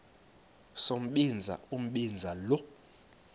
sombinza umbinza lo